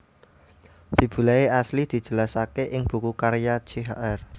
Fibulae asli dijelasaké ing buku karya Chr